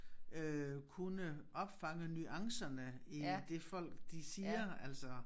Øh kunne opfange nuancerne i det folk de siger altså